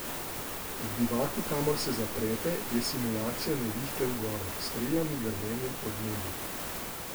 V bivaku, kamor se zaprete, je simulacija nevihte v gorah, s strelami, grmenjem, odmevi ...